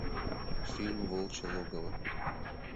фильм волчье логово